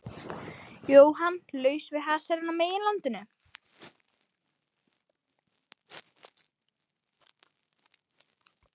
Jóhann: Laus við hasarinn á meginlandinu?